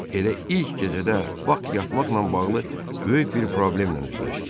Elə ilk gecədə Bak yatmaqla bağlı böyük bir problemlə üzləşdi.